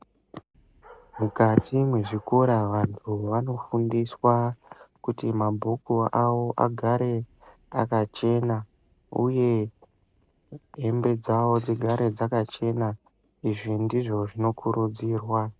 Mukati mwezvikora vantu vanofundiswa kuti mabhuku awo agare akachena uye hembe dzawo dzigare dzakachena izvi ndizvo zvinokurudzirwa.